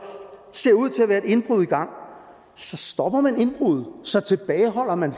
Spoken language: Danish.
ser ud til at være et indbrud i gang så stopper man indbruddet så tilbageholder man